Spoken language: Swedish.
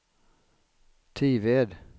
Tived